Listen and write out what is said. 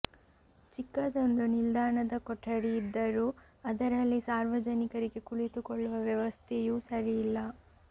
ಚಿಕ್ಕದೊಂದು ನಿಲ್ದಾಣದ ಕೊಠಡಿ ಇದ್ದರೂ ಅದರಲ್ಲಿ ಸಾರ್ವಜನಿಕರಿಗೆ ಕುಳಿತುಕೊಳ್ಳುವ ವ್ಯವಸ್ಥೆಯೂ ಸರಿ ಇಲ್ಲ